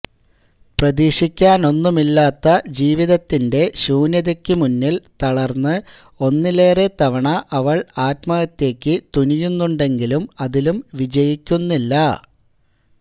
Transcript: പ്രതീക്ഷിക്കാനൊന്നുമില്ലാത്ത ജീവിതത്തിന്റെ ശൂന്യതയ്ക്കു മുന്നില് തളര്ന്ന് ഒന്നിലേറത്തെവണ അവള് ആത്മഹത്യയ്ക്കു തുനിയുന്നുണ്ടെങ്കിലും അതിലും വിജയിക്കുന്നില്ല